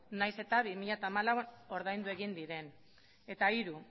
nahiz eta bi mila hamalauean ordaindu egin diren eta hiru